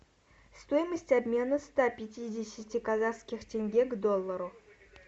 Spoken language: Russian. стоимость обмена ста пятидесяти казахских тенге к доллару